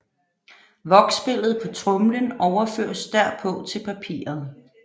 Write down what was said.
Voksbilledet på tromlen overføres derpå til papiret